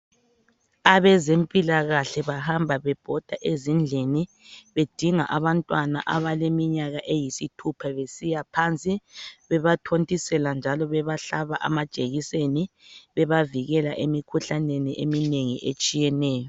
Abezempilakahle bahamba bebhoda ezindlini bedinga abantwana abaleminyaka eyisithupha besiya phansi bebathontisela njalo bebahlaba amajekiseni bebavikela emikhuhlaneni eminengi etshiyeneyo.